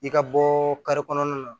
I ka bɔɔ kare kɔnɔna na